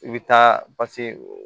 I bɛ taa